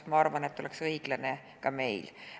Ma arvan, et see oleks õiglane ka meil.